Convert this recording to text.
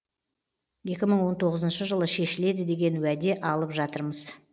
екі мың он тоғызыншы жылы шешіледі деген уәде алып жатырмыз